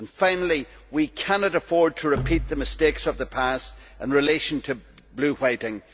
Finally, we cannot afford to repeat the mistakes of the past in relation to blue whiting.